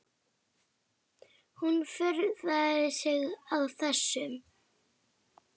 Hún furðar sig á þessu.